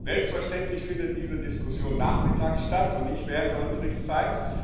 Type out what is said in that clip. Selbstverständlich findet diese Diskussion nachmittags statt und nicht während der Unterrichtszeit.